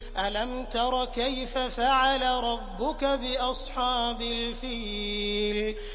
أَلَمْ تَرَ كَيْفَ فَعَلَ رَبُّكَ بِأَصْحَابِ الْفِيلِ